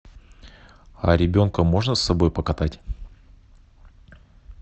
а ребенка можно с собой покатать